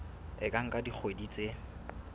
e ka nka dikgwedi tse